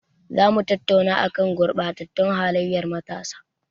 Za mu tattauna a kan gurɓatattun halayyar matasa.